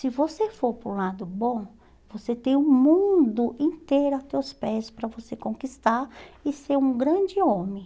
Se você for para o lado bom, você tem o mundo inteiro a teus pés para você conquistar e ser um grande homem.